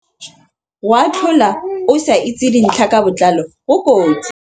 Go atlhola mongwe o sa itse dintlha ka botlalo go kotsi.